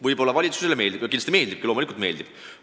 Võib-olla valitsusele meeldib – kindlasti meeldibki, loomulikult meeldib!